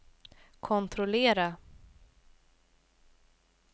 kontrollera